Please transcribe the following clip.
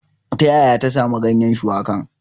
Ta yaya ta samo ganyen shuwakan?